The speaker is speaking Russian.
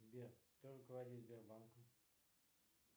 сбер кто руководит сбербанком